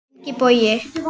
Ingi Bogi.